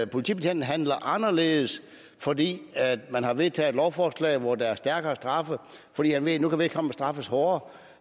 politibetjenten handle anderledes fordi man har vedtaget et lovforslag hvor der er stærkere straffe fordi han ved at nu kan vedkommende straffes hårdere